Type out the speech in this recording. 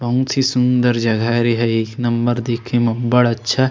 बहुत ही सुंदर जगह हरे ए ह एक नंबर देखे म बढ़ अच्छा --